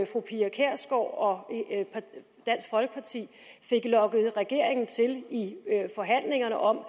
fru pia kjærsgaard og dansk folkeparti fik lokket regeringen til i forhandlingerne om